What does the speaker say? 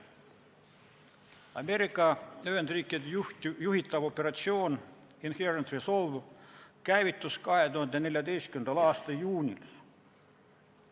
Ameerika Ühendriikide juhitav operatsioon Inherent Resolve käivitus 2014. aasta juunis.